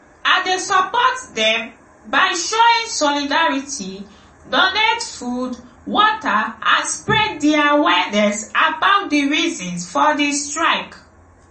i dey support dem by showing solidarity donate food water and spread di awareness about di reasons for di strike.